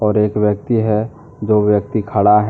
एक व्यक्ति हैदो व्यक्ति खड़ा है।